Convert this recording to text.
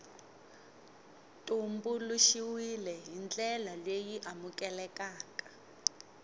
tumbuluxiwile hi ndlela leyi amukelekaka